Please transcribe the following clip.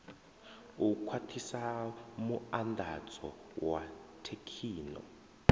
u khwathisa muandadzo wa thekhino